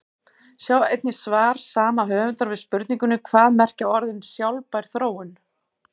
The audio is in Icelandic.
Sjá einnig svar sama höfundar við spurningunni Hvað merkja orðin sjálfbær þróun?